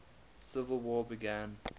civil war began